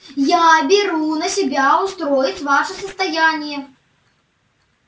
я беру на себя устроить ваше состояние